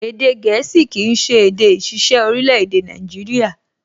Èdè gẹ̀ẹ́sì kìí ṣe èdè ìṣiṣẹ́ orílẹ̀-èdè Nàìjíríyà